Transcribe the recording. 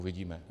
Uvidíme.